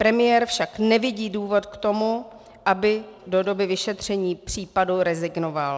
Premiér však nevidí důvod k tomu, aby do doby vyšetření případu rezignoval.